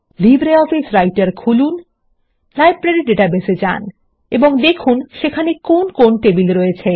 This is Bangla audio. লিব্রিঅফিস রাইটার খুলুন লাইব্রেরী ডাটাবেস এ যান এবং দেখুন সেখানে কোন কোন টেবিল আছে